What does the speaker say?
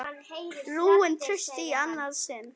Rúin trausti í annað sinn.